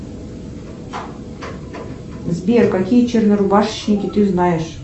сбер какие чернорубашечники ты знаешь